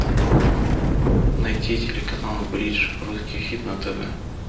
найти телеканал бридж русский хит на тв